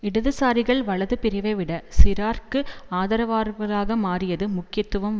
இடதுசாரிகள் வலது பிரிவைவிட சிராக்கிற்கு ஆதரவாளர்களாக மாறியது முக்கியத்துவம்